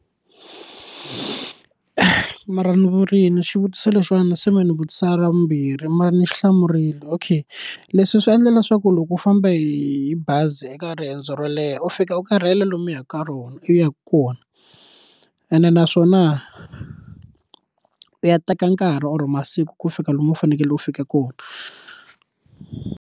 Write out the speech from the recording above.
mara ni vurini xivutiso lexiwani se me ni vutisa ra vumbirhi mara ni xi hlamurile, okay leswi swi endla leswaku loko u famba hi bazi eka riendzo ro leha u fika u karhele lomu u yaka ka rona u yaka kona ene naswona u ya teka nkarhi or masiku ku fika lomu u fanekele u fika kona.